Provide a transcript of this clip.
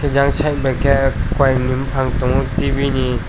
jang side bai ke kowai ni bopang tibi ni.